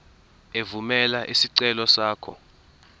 evumela isicelo sakho